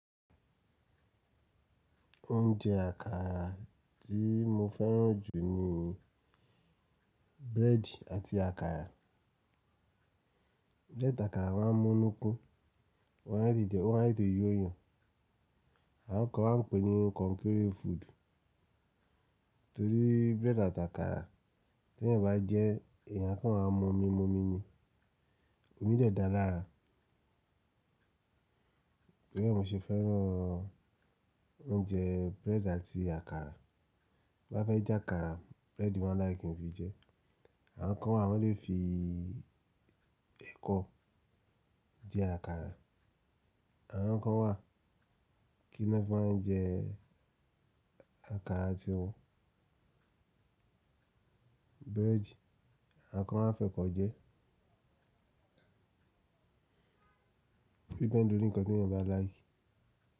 Oúnjẹ àkàrà tí mo fẹ́ràn jù ni búrẹ́dì àti àkàrà. Búrẹ́dì àti àkàrà wọ́n á mú nukun, wọ́n á dìde, ó má tètè yọ yan. Àwọn kan wọ́n ń pè é ní konkéré food, torí búrẹ́dì àti àkàrà tí ẹ̀yin bá jẹ́, ẹ̀yàn kan máa mumi mumi ni. Omi de da lára. Bí èmi ṣe fẹ́ràn oúnjẹ búrẹ́dì àti àkàrà, bá fẹ́ jẹ àkàrà, búrẹ́dì mo máa like kí n fi jẹ ẹ́. Àwọn kan wà wọ́n lè fi ẹ̀kọ jẹ àkàrà. Àwọn kan wà kí wọ́n máa jẹ àkàrà àti búrẹ́dì, àwọn kan wà fẹ́ kọ̀ jẹ. O depend lórí ǹkan tí ẹ̀yàn bá like.